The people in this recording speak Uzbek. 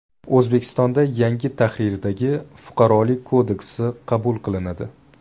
O‘zbekistonda yangi tahrirdagi Fuqarolik kodeksi qabul qilinadi.